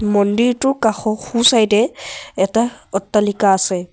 মন্দিৰটো কাষৰ সোঁচাইডে এ এটা অট্টালিকা আছে।